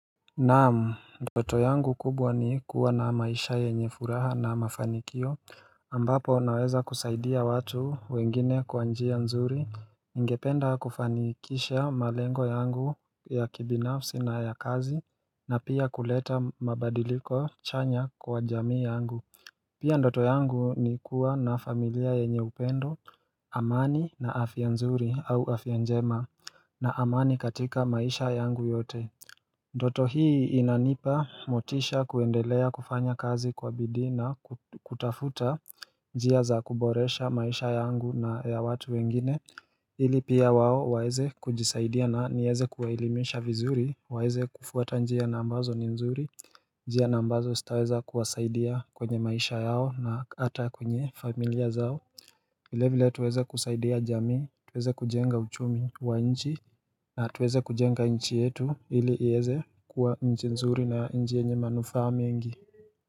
Naam ndoto yangu kubwa ni kuwa na maisha yenye furaha na mafanikio ambapo naweza kusaidia watu wengine kwa njia nzuri. Ningependa kufanikisha malengo yangu ya kibinafsi na ya kazi na pia kuleta mabadiliko chanya kwa jamii yangu. Pia ndoto yangu ni kuwa na familia yenye upendo amani na afya nzuri au afya njema na amani katika maisha yangu yote. Ndoto hii inanipa motisha kuendelea kufanya kazi kwa bidhii na kutafuta njia za kuboresha maisha yangu na ya watu wengine. Hili pia wao waweze kujisaidia na niweze kuwaelimisha vizuri waweze kufuata njia na ambazo ni nzuri. Njia ni ambazo zitaweza kuwasaidia kwenye maisha yao na hata kwenye familia zao. Vile vile tuweze kusaidia jamii, tuweze kujenga uchumi wa nchi na tuweza kujenga nchi yetu ili iweze kuwa nchi nzuri na nchi yenye manufaa mengi.